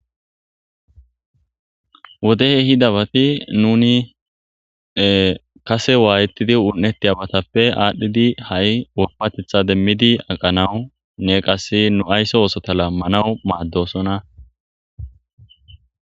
Wode ehidabattappe nunni kaase wayethidi unethiyabattappe adhdhidi haai woppaththetta demiddi aqanaw nne qasse nu aysso osootha lamanaw maddessona.